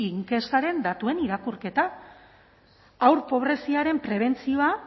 inkestaren datuen irakurketa haur pobreziaren prebentzioa